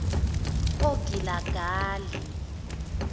ogilagali